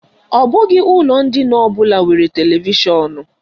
Ọ bụghị ụlọ ndina ọbụla nwere televishọnụ.